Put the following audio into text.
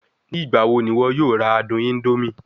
Nigbawo ni iwọ yoo ra adun indomie?